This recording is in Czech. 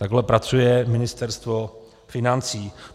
Takhle pracuje Ministerstvo financí.